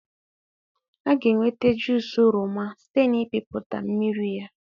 A ga-enweta juusị oroma site n'ịpịpụta mmiri ya.